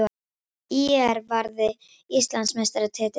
ÍR varði Íslandsmeistaratitilinn